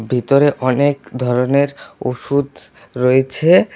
ভিতরে অনেক ধরনের ওষুধ রয়েছে।